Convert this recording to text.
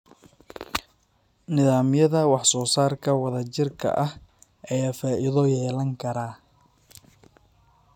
Nidaamyada wax-soo-saarka wadajirka ah ayaa faa'iido yeelan kara.